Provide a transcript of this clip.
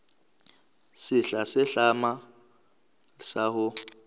sehla se hlahlamang sa ho